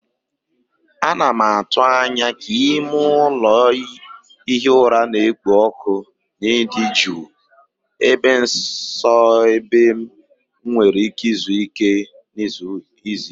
Ana m atụ anya ka ime ụlọ ihi ụra na-ekpo ọkụ na ịdị jụụ, ebe nsọ ebe m nwere ike izuike na izu ike.